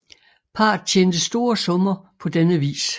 Parret tjente store summer på denne vis